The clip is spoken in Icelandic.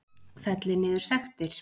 Fellir niður sektir